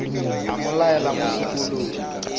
a mo laela mo sekolong